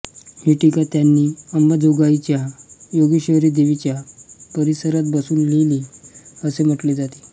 ही टीका त्यांनी अंबाजोगाईच्या योगेश्वरी देवीच्या परिसरात बसून लिहिली असे म्हटले जाते